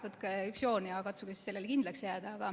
Võtke üks joon ja katsuge sellele kindlaks jääda.